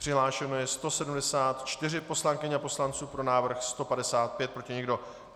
Přihlášeno je 174 poslankyň a poslanců, pro návrh 155, proti nikdo.